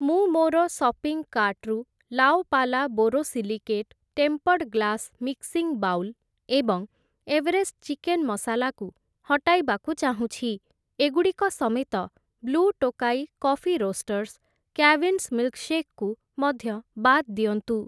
ମୁଁ ମୋର ସପିଂ କାର୍ଟ୍‌ରୁ La Opala borosilicate tempered glass mixing bowl ଏବଂ ଏଭରେଷ୍ଟ ଚିକେନ୍‌ ମସାଲା କୁ ହଟାଇବାକୁ ଚାହୁଁଛି । ଏଗୁଡ଼ିକ ସମେତ, blue Tokai coffee roasters, Cavin's milkshake କୁ ମଧ୍ୟ ବାଦ୍ ଦିଅନ୍ତୁ ।